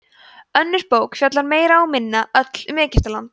önnur bók fjallar meira og minna öll um egyptaland